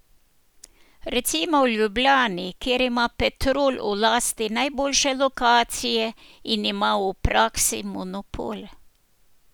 Recimo v Ljubljani, kjer ima Petrol v lasti najboljše lokacije in ima v praksi monopol.